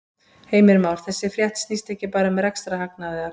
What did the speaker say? Heimir Már: Þessi frétt snýst ekki bara um rekstrarhagnað eða hvað?